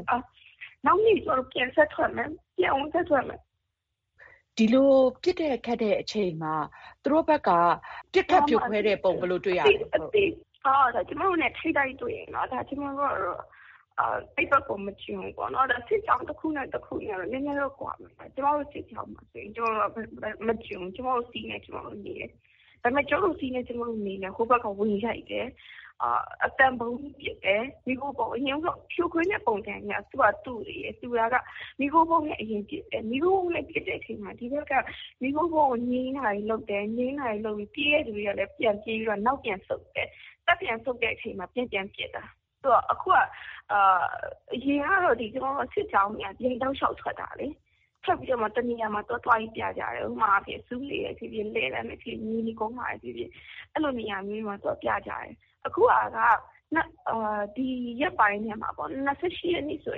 ယ့် နောက်နေ့ကျမတို့ပြန်ဆက်ထွက်မယ်။ ပြန်ကို ဆက်ထွက်မယ်။ မအင်ကြင်းနိုင်။ ။ ဒီလိုပစ်တဲ့ခတ်တဲ့ အချိန်မှာ သူတို့ဘက်က ပစ်ခတ်ဖြို ခွဲတဲ့ပုံ ဘယ်လိုတွေ့ရလဲ။ မအိသဉ္ဖာမောင်။ ။ ကျမတို့နဲ့ထိပ်တိုက်တွေ့ရင် ကျမတို့က အဲဒီဘက်ကို မကျွံဘူးပေါ့နော်။ စစ်ကြောင်းတခုနဲ့တခုကတော့ နည်းနည်းတော့ကွာမယ်။ ကျမတို့စစ်ကြောင်းမှာ ကျမတို့က မကျွံဘူး။ ကျမတို့စည်းနဲ့ကျမတို့နေတယ်။ ဒါပေမယ့် ကျမတို့စည်းနဲ့ကျမတို့နေတာကို ဟိုဘက်က ဝင်ရိုက်တယ်။ အသံဗုံးပစ်တယ်။ ဖြိုခွင်းတဲ့ ပုံစံတွေက တူနေတယ် ။ တူတယ်ဆိုတာက မီးခိုးဗုံးနဲ့အရင်ပစ်တယ်။ မီးခိုးဗုံးနဲ့ပစ်တဲ့အချိန်မှာ ဒီဘက်က မီးခိုးဗုံးကို ငြိမ်းတာတွေလုပ်တယ်။ ငြိမ်းတာတွေလုပ်ပြီးတော့ ပြေးတဲ့လူတွေကလည်း ပြန်ပြေးတယ်။ ပြီးတော့ နောက်ပြန်ဆုတ်တယ်။ တပ်ပြန်ဆုတ်တဲ့ အချိန်မှာ ပြန်ပြန်ပစ်တယ်။ အရင်ကတော့ စစ်ကြောင်းတွေဟာ တောက်လျောက်ထွက်တာလေ။ ထွက်ပြီးတော့မှ တနေရာမှာ သွားသွားပြီးတော့ ပြကြတယ်။ ဥပမာအားဖြင့် ဆူးလေဖြစ်ဖြစ်၊ လှည်းတန်းဖြစ်ဖြစ်၊ မြေနီကုန်းမှာဖြစ်ဖြစ်၊ အဲလိုနေရာမျိူးတွေမှာ သွားသွားပြကြတယ်။ အခုဟာ ဒီရက်ပိုင်းထဲမှာပေါ့။ ၂၈ ရက်နေ့ဆို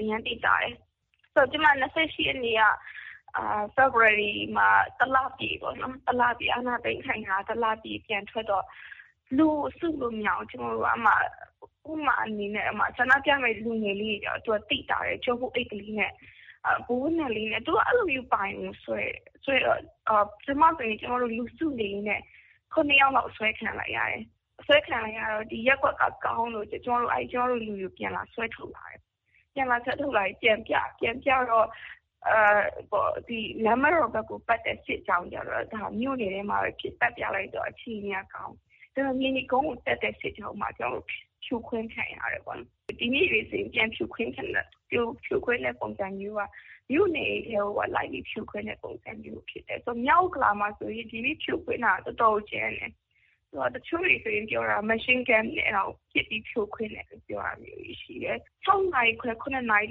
အရမ်းသိသာတယ်။ ကျမ ဖေဖော်ဝါရီ ၂၈ ရက်နေ့ကဆိုတော့ တလ ပြည့်ပေါ့နော် ။ မြန်မာပြည်အာဏာသိမ်းခံရတာ တလပြည့် ပြန်ထွက်တော့ လူကို စုလို့မရဘူး။ ကျမတို့က အဲဒီမှာ ဥပမာအနေနဲ့ ဆန္ဒပြမယ့် လူငယ်လေးတွေကျတော့ သိသာတယ်။ ကျောပိုးအိတ်လေးတွေနဲ့ အဝတ်နက်လေးတွေနဲ့။ ကျမတို့ဆိုရင် လူစုနေရင်းနဲ့ ယောက်လောက် အဆွဲခံလိုက်ရတယ်။ ဒီရပ်ကွက်က ကောင်းလို့ကျမတို့လူတွေကို ပြန်လာဆွဲထုတ်သွားတယ်။ ပြန်လာဆွဲထုတ်လာပြီး ပြန်ပြတယ်။ ပြန်ပြတော့ ဒီလမ်းမတော်ဘက်ကို ပတ်တဲ့စစ်ကြောင်းကျတော့ မြို့နယ်ထဲမှာပဲဖြစ်လို့ပတ်ပြလိုက်တော့ အခြေအနေက ကောင်းတယ်။ မြေနီကုန်းကို တက်တဲ့စစ်ကြောင်းမှာ ကျမတို့ဖြိုခွဲခံရတယ်ပေါ့နော်။ ဒီနေ့တွေလို ဖြိုခွဲတဲ့ပုံစံမျိူးက မြို့နယ်တွေထဲအထိလိုက်ပြီး ဖြိုခွဲတဲ့ပုံစံမျိူးဖြစ်တယ်။ မြောက်ဥက္ကလာမှာဆိုရင် ဒီနေ့ဖြိုခွင်းတာ တော်တော်ကိုကြမ်းတယ်။ တချို့တွေဆိုရင်ပြောတာ Machine Gun နဲ့ပစ်ပြီး ဖြိုခွင်းတယ်ပြောတယ်။ ၆ နာရီခွဲ ၇ နာရီ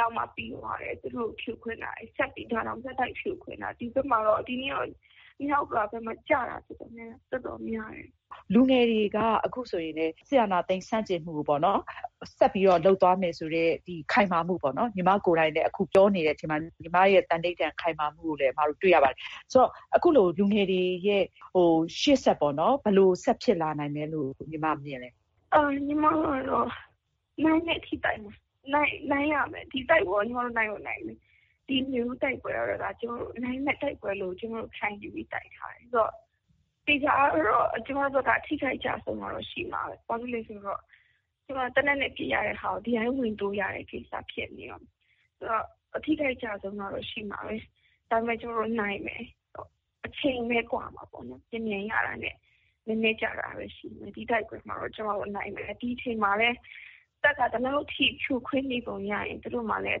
လောက်မှ ပြီးသွားတယ်။ သူတို့ကို ဖြိုခွင်းတာ ။ ဒါတောင် ဆက်တိုက်ဖြိုခွင်းတာ။ ဒီနေ့တော့ မြောက်ဥက္ကလာဘက်မှာ ကျတာတော်တော်များတယ်။ မအင်ကြင်းနိုင်။ ။ လူငယ်တွေက အခုဆိုရင် စစ်အာဏာသိမ်းဆန့်ကျင်မှုကိုပေါ့နော် ဆက်ပြီးလုပ်သွားမယ်ဆိုတဲ့ ဒီ ခိုင်မာမှုပေါ့နော်၊ ညီမကိုယ်တိုင်လည်း အခုပြောနေတဲ့အချိန်မှာ ညီမရဲ့ သန္နိဋ္ဌာန် ခိုင်မာမှုကိုလည်း အမတို့တွေ့ရပါတယ်။ ဆိုတော့ လူငယ်တွေရဲ့ ရှေ့ဆက်ပေါ့နော် ဘယ်လိုဆက်ဖြစ်လာနိုင်မလဲလို့ညီမမြင်သလဲ။ မအိသဌ္ဖာမောင်။ ။ ညီမကတော့ နိုင်တဲ့အထိ တိုက်မယ်။ နိုင်ရမယ်။ ဒီတိုက်ပွဲကို ကျမတို့ နိုင်ကိုနိုင်မယ်။ ဒီနွေဦးတိုက်ပွဲကတော့ နိုင်မယ့်တိုက်ပွဲလို့ကျမတို့ခံယူပြီး တိုက်ထားတယ်။ သေချာတာကတော့ ကျမတို့ဘက်က အထိအခိုက်အကျအဆုံးတော့ ရှိမှာပါပဲ။ ဘာဖြစ်လို့လဲဆိုတော့ သေနတ်နဲ့ပစ်ကြတာကို ဒီအတိုင်းဝင်တိုးရတဲ့ ကိစ္စဖြစ်နေတော့ အထိအခိုက်အကျအဆုံးကတော့ ရှိမှာပဲ။ ဒါပေမယ့် ကျမတို့နိုင်မယ်။ အချိန်ပဲ ကွာမှာပေါ့နော်။ မြန်မြန်ရတာနဲ့နည်းနည်းကြာတာပဲရှိမယ်။ ဒီတိုက်ပွဲမှာတော့ ကျမတို့နိုင်မယ်။ ဒီအချိန်မှာပဲ တပ်က ဒီလောက်အထိဖြိုခွဲနေပုံရရင် သူတို့မှာလည်း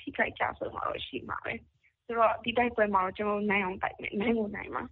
ထိခိုက်ကျဆုံးတော့ ရှိမှာပဲ။ ဒီတိုက်ပွဲမှာတော့ ကျမတို့နိုင်အောင်တိုက်မယ်။ နိုင်ကို နိုင်မှာ